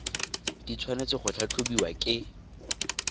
di tshwanetse go tlhatlhobiwa ke